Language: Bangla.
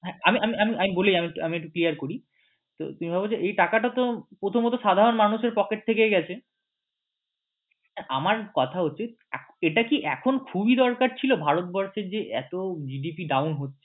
হ্যাঁ আমি বলি আমি একটু clear করি এই টাকা তো প্রথমত সাধারণ মানুষের pocket থেকেই গেছে আমার কথা হচ্ছে এটা কি এখন খুবই দরকার ছিল ভারতবর্ষের যে এতো GDP down হচ্ছে